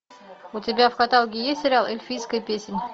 у тебя в каталоге есть сериал эльфийская песнь